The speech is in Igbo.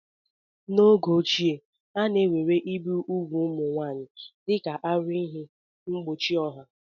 N'oge ochie, a na-ewere igbu ugwu ụmụ nwanyị dịka aruihe mgbochi ọha.